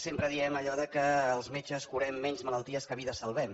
sempre diem allò que els metges curem menys malalties que vides salvem